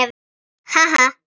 Ha ha.